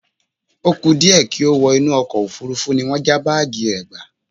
O kú díẹ̀ kí ó wọ inú ọkọ̀ òfuurufú ní wọ́n já báàgì rẹ̀ gbà